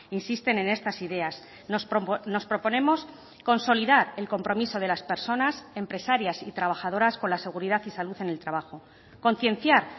insisten en estas ideas nos proponemos consolidar el compromiso de las personas empresarias y trabajadoras con la seguridad y salud en el trabajo concienciar